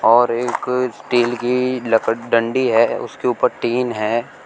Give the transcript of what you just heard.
और एक स्टील की लक डंडी है उसके ऊपर टिन है।